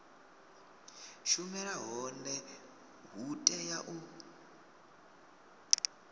shumela hone hu tea u